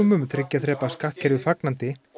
um þriggja þrepa skattkerfi fagnandi